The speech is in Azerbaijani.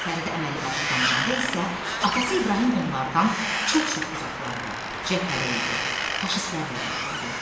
Fərid əməlli başlı danışanda isə atası İbrahim onlardan çox-çox uzaqlarda cəbhədə idi, faşistlərlə vuruşurdu.